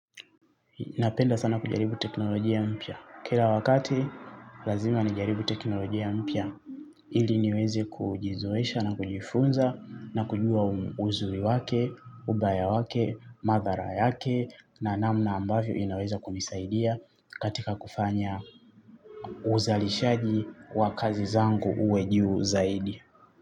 Napenda sana kujaribu teknolojia mpya. Kila wakati, lazima nijaribu teknolojia mpya. Ili niwezi kujizoesha na kujifunza na kujua uzuri wake, ubaya wake, madhara yake na namna ambavyo inaweza kunisaidia katika kufanya uzalishaji wa kazi zangu uwe juu zaidi.